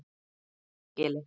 Kiðagili